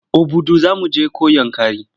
Obudu za mu je ko Yankari?